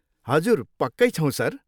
हजुर, पक्कै छौँ, सर।